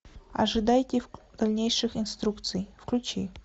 ожидайте дальнейших инструкций включи